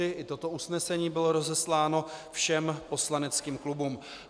I toto usnesení bylo rozesláno všem poslaneckým klubům.